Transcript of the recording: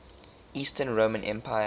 eastern roman empire